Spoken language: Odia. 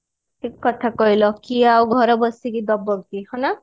ଠିକ କଥା କହିଲ କିଏ ଆଉ ଘରେ ବସିକି ଦବ କି ହଁ ନା